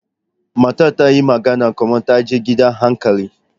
Matar ta yi magana kamar ta je gidan hankali.